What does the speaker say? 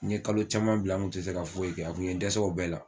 N ye kalo caman bila n kun tɛ se ka foyi kɛ a kun ye dɛsɛ o bɛɛ la.